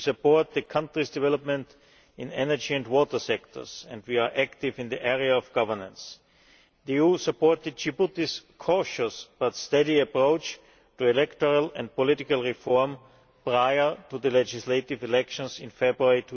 We support the country's development in energy and water sectors, and we are active in the area of governance. The EU supported Djibouti's cautious but steady approach to electoral and political reform prior to the legislative elections in February